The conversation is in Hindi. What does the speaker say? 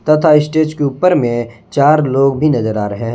तथा स्टेज के ऊपर में चार लोग भी नजर आ रहे हैं।